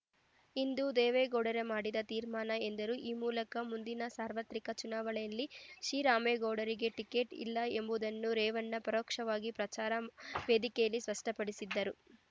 ಇಂದು ದೇವೇಗೌಡರೇ ಮಾಡಿದ ತೀರ್ಮಾನ ಎಂದರು ಈ ಮೂಲಕ ಮುಂದಿನ ಸಾರ್ವತ್ರಿಕ ಚುನಾವಣೆಯಲ್ಲಿ ಶಿರಾಮೇಗೌಡರಿಗೆ ಟಿಕೆಚ್‌ ಇಲ್ಲ ಎಂಬುದನ್ನು ರೇವಣ್ಣ ಪರೋಕ್ಷವಾಗಿ ಪ್ರಚಾರ ವೇದಿಕೆಯಲ್ಲೇ ಸ್ಪಷ್ಟಪಡಿಸಿದರು